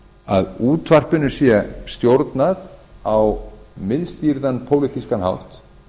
að útvarpinu sé stjórnað á miðstýrðan pólitískan hátt